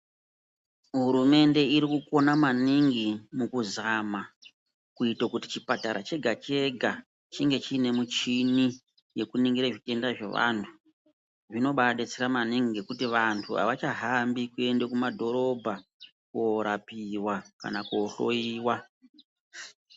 Hurumende irikugona maningi mukuzama kuite kuti chipatara chega chega chinge chiine michini yekuningira zvitenda zvevantu, zvinobaa detsera maningi ngekuti antu ahachahambi kuende kumadhorobha kuorapiwa kana kuohloyiwa.